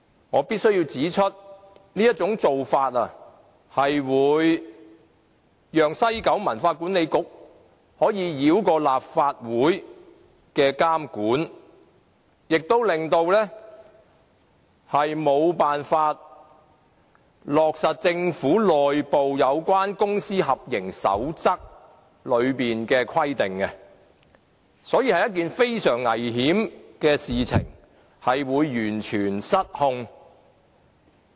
我必須指出，這種做法會讓西九文化區管理局可以繞過立法會的監管，亦沒有辦法落實政府內部有關公私合營守則的規定，所以是一件非常危險的事，會完全失控。